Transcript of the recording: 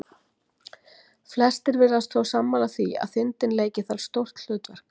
Flestir virðast þó sammála því að þindin leiki þar stórt hlutverk.